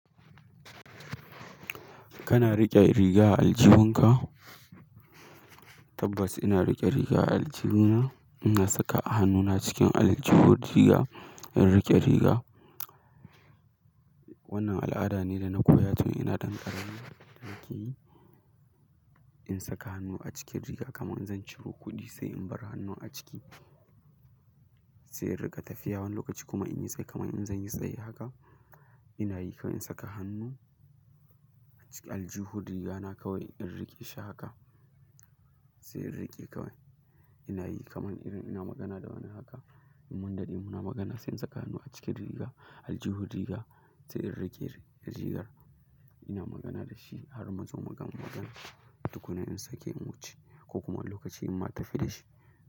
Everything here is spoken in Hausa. Kana riƙe riga a aljihunka? Tabbas ina riƙe riga a aljihuna. Ina saka hannuna cikin aljihun riga in riƙe riga. Wannan al'ada ne da na koya tun ina ɗan ƙarami. Ki in saka hannu a cikin riga kamar zan ciro kuɗi sai in bar hannun a ciki, sai in riƙa tafiya wani lokaci kuma in yi tsaye kamar in zan yi tsaye haka. Ina yi kamar in saka hannu a cikin aljihun rigana kawai in riƙe shi haka sai in riƙe kawai. Ina yi kamar irin ina magana da wani haka mun dade muna magana sai in saka hannu a cikin riga aljihun riga sai in riƙe rigar. Ina magana da shi har muzo mu gamar tukuna in sake in wuce ko kuma lokacin inma tafi da shi.